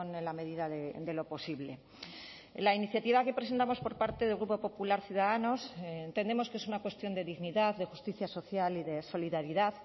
en la medida de lo posible la iniciativa que presentamos por parte del grupo popular ciudadanos entendemos que es una cuestión de dignidad de justicia social y de solidaridad